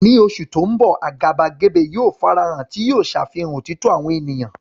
Ní oṣù tó ń bọ̀, àgàbàgebè yóò farahàn, tí yóò ṣàfihàn òtítọ́ àwọn ènìyàn.